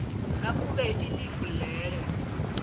nakube ilifu leyo